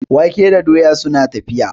wake da doya suna tafiya